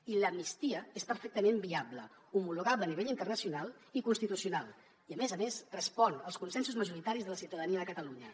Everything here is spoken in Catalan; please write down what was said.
i l’amnistia és perfectament viable homologable a nivell internacional i constitucional i a més a més respon als consensos majoritaris de la ciutadania de catalunya